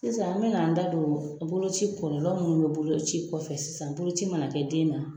Sisan an bina an da don bolo ci kɔlɔlɔ minnu bɛ bolo ci kɔfɛ sisan boloci mana kɛ den na.